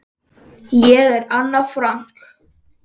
Ég er Anna Frank.